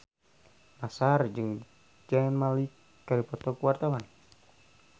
Nassar jeung Zayn Malik keur dipoto ku wartawan